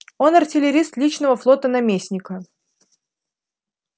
он артиллерист личного флота наместника